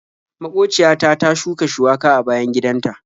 Maƙociya ta ta shuka shuwaka a bayan gidan ta.